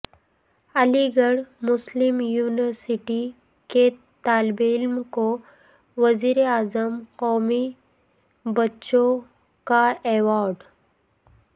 علی گڑھ مسلم یونیورسٹی کے طالب علم کو وزیر اعظم قومی بچوں کا ایوارڈ